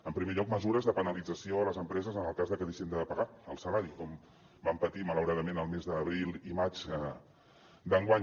en primer lloc mesures de penalització a les empreses en el cas de que deixin de pagar el salari com van patir malauradament el mes d’abril i maig d’enguany